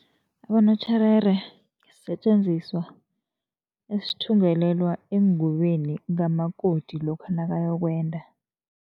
Abositjherere sisetjenziswa esithungelelwa engubeni kamakoti lokha nakayokwenda.